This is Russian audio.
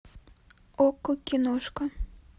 окко киношка